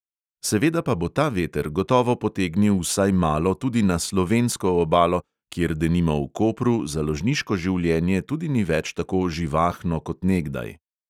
Seveda pa bo ta veter gotovo potegnil vsaj malo tudi na slovensko obalo, kjer denimo v kopru založniško življenje tudi ni več tako živahno kot nekdaj.